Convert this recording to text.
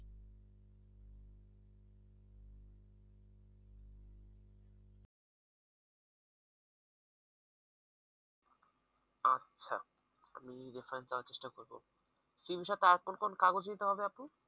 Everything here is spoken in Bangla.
আচ্ছা আমি reference দেওয়ার চেষ্টা করব কি বিষয় আর কোন কোন কাগজ দিতে হবে আপু?